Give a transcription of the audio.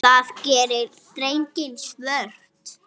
Það gerir dekkin svört.